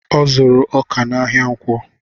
Ọ zuru ọkà n'ahia ǹkwọ